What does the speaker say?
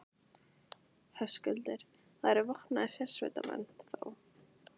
Höskuldur: Það eru vopnaðir sérsveitarmenn, þá?